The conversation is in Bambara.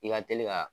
I ka teli ka